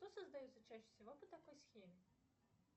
что создается чаще всего по такой схеме